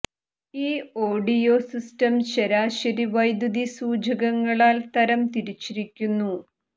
ഈ audio system ശരാശരി വൈദ്യുതി സൂചകങ്ങളാൽ തരം തിരിച്ചിരിക്കുന്നു